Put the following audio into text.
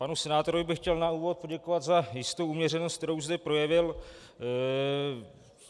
Panu senátorovi bych chtěl na úvod poděkovat za jistou uměřenost, kterou zde projevil.